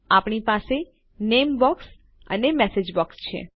આપણી પાસે આપણું નામે બોક્સ અને મેસેજ બોક્સ છે